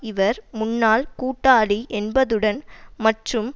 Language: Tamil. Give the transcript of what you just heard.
இவர் முன்னாள் கூட்டாளி என்பதுடன் மற்றும்